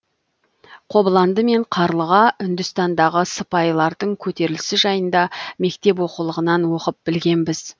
қобыланды мен қарлыға үндістандағы сыпайлардың көтерілісі жайында мектеп оқулығынан оқып білгенбіз